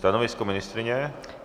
Stanovisko ministryně?